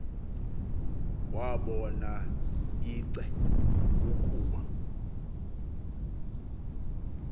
wabona ice ukuba